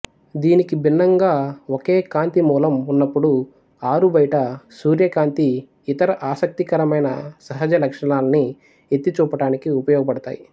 దీనికి భిన్నంగా ఒకే కాంతి మూలం ఉన్నపుడు ఆరుబయట సూర్యకాంతి ఇతర ఆసక్తికరమైన సహజలక్షణాలని ఎత్తి చూపటానికి ఉపయోగపడతాయి